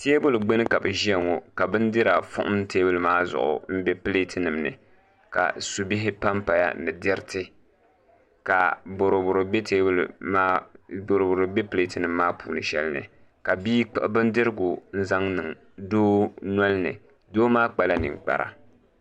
Teebuli gbuni ka bi ʒiya ŋo ka bindira fuhum teebuli maa zuɣu n bɛ pileet nim ni ka subihi panpaya ni diriti ka boroboro bɛ pileet nim maa puuni shɛli ni ka bia kpuɣu bindirigu n zaŋ niŋ doo nolini